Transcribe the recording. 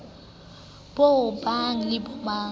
bo bong le bo bong